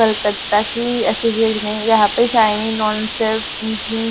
कलकत्ता की अससोसिएट यहाँ पे --